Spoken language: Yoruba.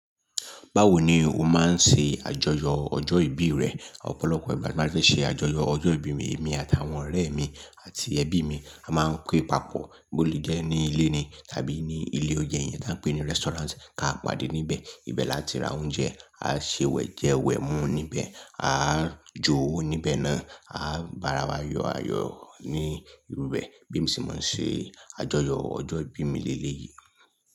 Báwo ni o máa ń ṣe àjọyọ̀ ọjọ́ ìbí rẹ? Ọ̀pọ̀lọpọ̀ ìgbà tí a bá fẹ́ ṣe àjọyọ̀ ọjọ́ ìbí mi, èmi àtàwọn ọ̀rẹ́ mi àti ẹbí mi a máa ń pé papọ̀ bó ti jẹ́ ní ilé ni tàbí ní ilé oúnjẹ yẹn tí a ń pè ní restaurant, ká pàdé níbẹ̀. Ìbẹ̀ láti ra oúnjẹ, a ṣe wẹ̀ jẹ wẹ̀ mú níbẹ̀, a jo níbẹ̀ náà, a bara wa yọ̀ ayọ̀ ní ibi bẹ̀. Bí emi ṣe máa ń ṣe àjọyọ̀ ọjọ́ ìbí mi lé lé yìí.